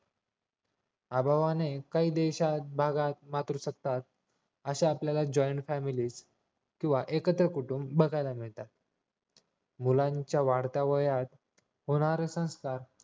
अभावाने काही देशात भागात वावरू शकतात अशा आपल्याला joint family व एकत्र कुटुंब बघायला मिळतात मुलांच्या वाढत्या वयात होणारे संस्कार